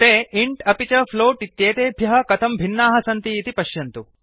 ते इन्ट् अपि च फ्लोट इत्येतेभ्यः कथं भिन्नाः सन्ति इति पश्यन्तु